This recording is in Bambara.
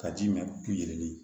Ka ji mɛn k'u yiri